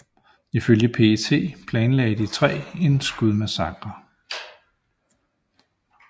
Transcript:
Ifølge PET planlagde de tre en skudmassakre